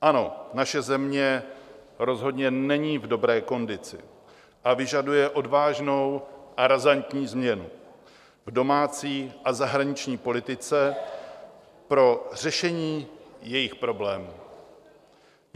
Ano, naše země rozhodně není v dobré kondici a vyžaduje odvážnou a razantní změnu v domácí a zahraniční politice pro řešení jejích problémů.